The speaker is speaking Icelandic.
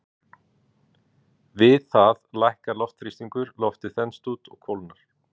Við það lækkar loftþrýstingur, loftið þenst út og kólnar.